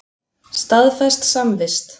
Staðfest samvist.